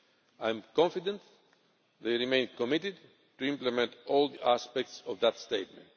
I am confident they remain committed to implement all aspects of that statement.